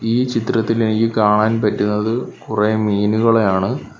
ഈ ചിത്രത്തിൽ എനിക്ക് കാണാൻ പറ്റുന്നത് കുറേ മീനുകളെയാണ്.